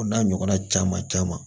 O n'a ɲɔgɔnna caman caman